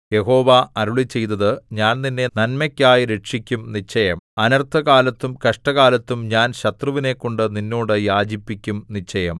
യഹോവ അരുളിച്ചെയ്തത് ഞാൻ നിന്നെ നന്മയ്ക്കായി രക്ഷിക്കും നിശ്ചയം അനർത്ഥകാലത്തും കഷ്ടകാലത്തും ഞാൻ ശത്രുവിനെക്കൊണ്ടു നിന്നോട് യാചിപ്പിക്കും നിശ്ചയം